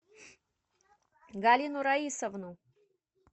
галину раисовну